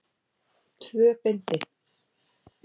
Tvö bindi.